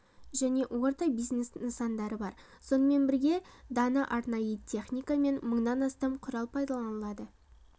және орта бизнес нысандары бар сонымен бірге дана арнайы техника мен мыңнан астам құрал пайдаланылады